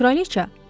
Kraliça?